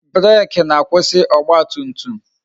Breeki na-akwụsị ọgba tum tum